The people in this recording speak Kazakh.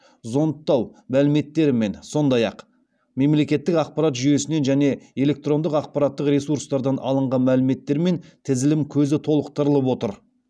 зондтау мәліметтерімен сондай ақ мемлекеттік ақпарат жүйесінен және электрондық ақпараттық ресурстардан алынған мәліметтермен тізілім көзі толықтырылып отыр